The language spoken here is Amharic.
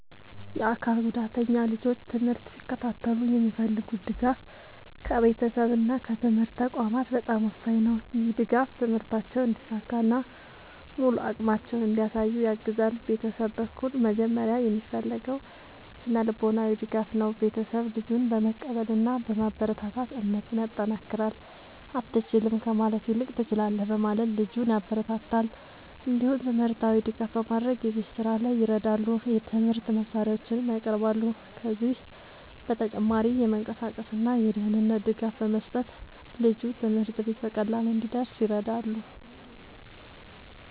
የአካል ጉዳተኛ ልጆች ትምህርት ሲከታተሉ የሚፈልጉት ድጋፍ ከቤተሰብ እና ከትምህርት ተቋማት በጣም ወሳኝ ነው። ይህ ድጋፍ ትምህርታቸውን እንዲሳካ እና ሙሉ አቅማቸውን እንዲያሳዩ ያግዛል። ቤተሰብ በኩል መጀመሪያ የሚፈለገው ስነ-ልቦናዊ ድጋፍ ነው። ቤተሰብ ልጁን በመቀበል እና በማበረታታት እምነቱን ያጠናክራል። “አትችልም” ከማለት ይልቅ “ትችላለህ” በማለት ልጁን ያበረታታል። እንዲሁም ትምህርታዊ ድጋፍ በማድረግ የቤት ስራ ላይ ይረዳሉ፣ የትምህርት መሳሪያዎችንም ያቀርባሉ። ከዚህ በተጨማሪ የመንቀሳቀስ እና የደህንነት ድጋፍ በመስጠት ልጁ ትምህርት ቤት በቀላሉ እንዲደርስ ይረዳሉ።